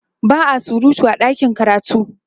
ba'a surutu a ɗakin karatu